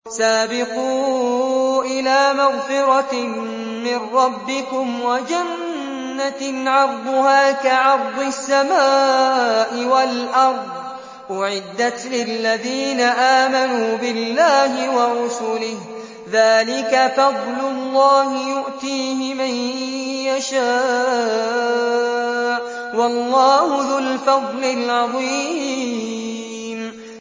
سَابِقُوا إِلَىٰ مَغْفِرَةٍ مِّن رَّبِّكُمْ وَجَنَّةٍ عَرْضُهَا كَعَرْضِ السَّمَاءِ وَالْأَرْضِ أُعِدَّتْ لِلَّذِينَ آمَنُوا بِاللَّهِ وَرُسُلِهِ ۚ ذَٰلِكَ فَضْلُ اللَّهِ يُؤْتِيهِ مَن يَشَاءُ ۚ وَاللَّهُ ذُو الْفَضْلِ الْعَظِيمِ